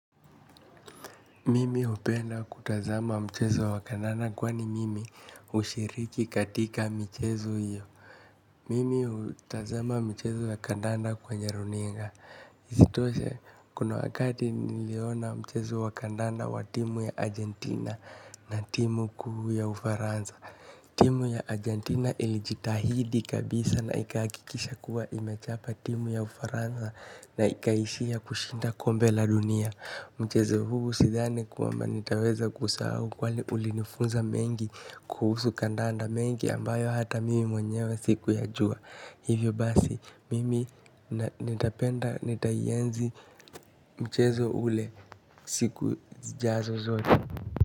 Mimi hupenda kutazama mchezo wa kandanda kwani mimi hushiriki katika michezo hiyo mimi hutazama michezo ya kandanda kwenye runinga. Isitoshe kuna wakati niliona mchezo wa kandanda wa timu ya Argentina na timu kuu ya Ufaransa. Timu ya Argentina ilijitahidi kabisa na ikahakikisha kuwa imechapa timu ya Ufaransa na ikaishia kushinda kombe la dunia mchezo huu sidhani kwamba nitaweza kuusahau kwani ulinifunza mengi kuhusu kandanda mengi ambayo hata mimi mwenyewe sikuyajua hivyo basi mimi nitapenda nitaienzi mchezo ule siku zijazo zote.